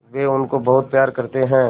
वे उनको बहुत प्यार करते हैं